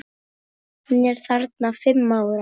Hún er þarna fimm ára.